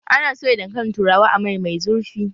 Ana soya dankalin turawa a mai mai zurfi